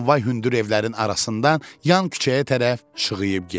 Tramvay hündür evlərin arasından yan küçəyə tərəf şığıyıb getdi.